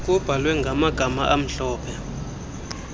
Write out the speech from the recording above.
kubhalwe ngamagama amhlophe